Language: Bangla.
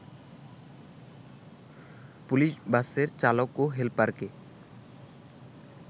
পুলিশ বাসের চালক ও হেলপারকে